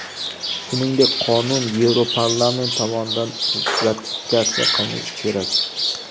Shuningdek, qonun Yevroparlament tomonidan ratifikatsiya qilinishi kerak.